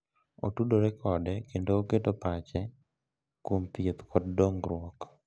Otudore kode kendo oketo pach kuom thieth kod dongruok.